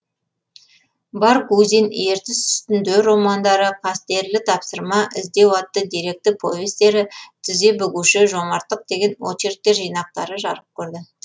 баргузин ертіс үстінде романдары қастерлі тапсырма іздеу атты деректі повестері тізе бүгуші жомарттық деген очерктер жинақтары жарық көрді